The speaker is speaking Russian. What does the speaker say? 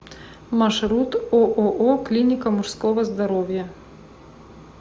маршрут ооо клиника мужского здоровья